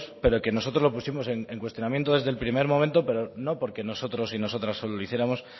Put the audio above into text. pero que nosotros lo pusimos en cuestionamiento desde el primer momento no porque nosotros y nosotras solo lo hiciéramos